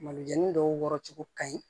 Malo jɛnini dɔw wɔcogo ka ɲi